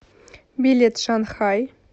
билет шанхай